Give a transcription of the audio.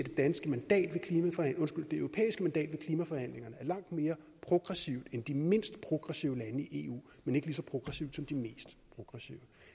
at det europæiske mandat ved klimaforhandlingerne er langt mere progressivt end de mindst progressive lande i eu men ikke lige så progressivt som de mest progressive